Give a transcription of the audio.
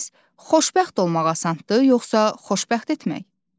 Bəs xoşbəxt olmaq asandır, yoxsa xoşbəxt etmək?